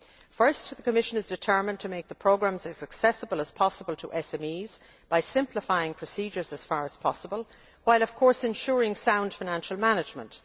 First, the Commission is determined to make the programmes as accessible as possible to SMEs by simplifying procedures as far as possible while, of course, ensuring sound financial management.